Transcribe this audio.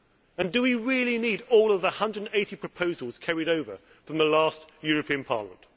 And do we really need all of the 180 proposals carried over from the last European Parliament?